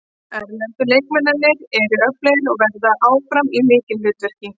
Erlendu leikmennirnir eru öflugir og verða áfram í lykilhlutverki.